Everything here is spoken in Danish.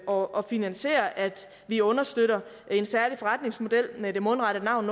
og finansiere at vi understøtter en særlig forretningsmodel med det mundrette navn